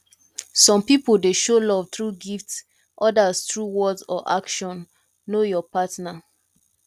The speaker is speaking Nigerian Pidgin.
some pipo dey show love through gift odas through words or action know your partner